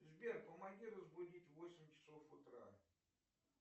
сбер помоги разбудить в восемь часов утра